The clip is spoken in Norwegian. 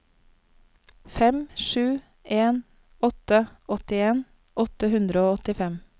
fem sju en åtte åttien åtte hundre og åttifem